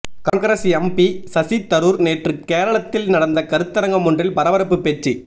Congress MP Shashi Tharoor நேற்று கேரளத்தில் நடந்த கருத்தரங்கம் ஒன்றில் பரபரப்பு பேச்சு